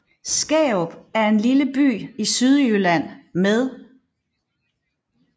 Skærup er en lille by i Sydjylland med